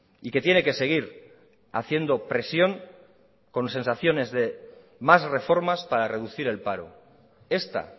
y que tiene que seguir haciendo presión con sensaciones de más reformas para reducir el paro esta